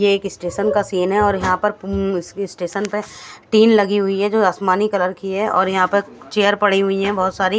ये एक स्टेशन का सीन है और यह पर हम्म तेन लगी हुई ई जो असमानि कलर की है और यहाँ पर चेयर पड़ी हुई है बोहोत सारी--